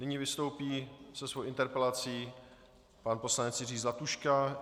Nyní vystoupí se svou interpelací pan poslanec Jiří Zlatuška.